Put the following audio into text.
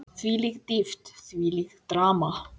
Þvílík dýpt, þvílíkt drama.